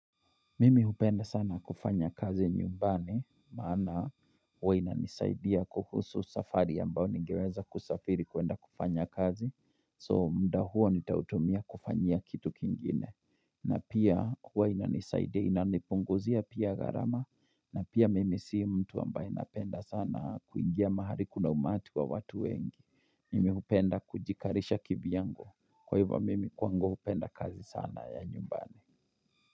Mimi hupenda sana kufanya kazi nyumbani maana wainanisaidia kuhusu safari ambao nigeweza kusafiri kuenda kufanya kazi so mda huo nitautomia kufanya kitu kingine Mimi hupenda sana kufanya kazi nyumbani maana huwa inanisaidia kuhusu safari ambao ningeweza kusafiri kuenda kufanya kazi so mda huo nitautomia kufanya kitu kingine.